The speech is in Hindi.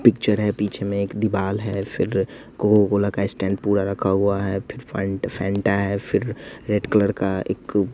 पिक्चर है पीछे में एक दीवाल है फिर कोका कोला का स्टैंड पूरा रखा हुआ है फिर फंटा है फिर रेड कलर का एक--